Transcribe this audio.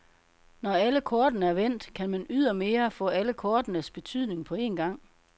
Når alle kortene er vendt, kan man ydermere få alle kortenes betydning på en gang.